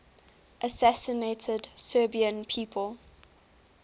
assassinated serbian people